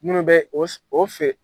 Minnu bɛ o fɛ